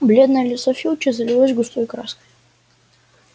бледное лицо филча залилось густой краской